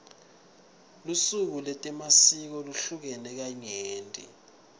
lusuku letemasiko luhlukene kanyenti